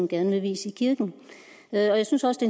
gerne vil vies i kirken jeg synes også